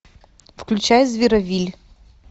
включай зеровилль